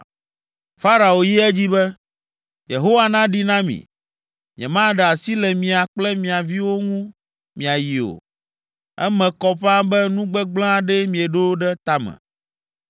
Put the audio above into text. Farao yi edzi be, “Yehowa naɖi na mi, nyemaɖe asi le mia kple mia viwo ŋu miayi o. Eme kɔ ƒãa be nu gbegblẽ aɖee mieɖo ɖe ta me.